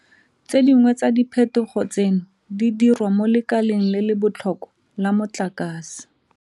Tse dingwe tsa diphetogo tseno di diriwa mo lekaleng le le botlhokwa la motlakase.